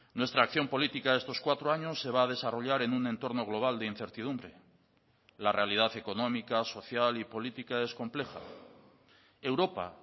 nuestra acción política de estos cuatro años se va a desarrollar en un entorno global de incertidumbre la realidad económica social y política es compleja europa